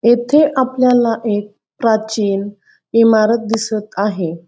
येथे आपल्याला एक प्राचीन इमारत दिसत आहे.